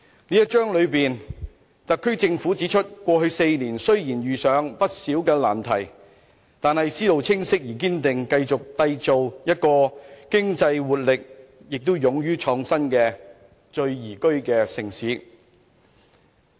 這一章裏面，特區政府指出，過去4年雖然遇上不少難題，但特區政府思路清晰而堅定，繼續締造一個具經濟活力、亦勇於創新的宜居城市。